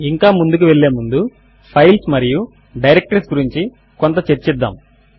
ఇంకా ముందుకు వెళ్ళే ముందు ఫైల్స్ మరియు డైరెక్టరీస్ గురించి కొంత చర్చిద్దాము